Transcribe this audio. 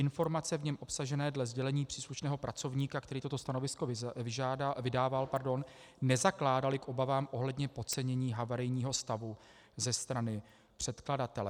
Informace v něm obsažené dle sdělení příslušného pracovníka, který toto stanovisko vydával, nezakládaly k obavám ohledně podcenění havarijního stavu ze strany předkladatele.